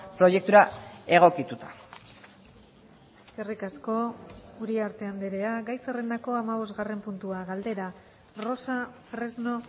proiektura egokituta eskerrik asko uriarte andrea gai zerrendako hamabosgarren puntua galdera rosa fresno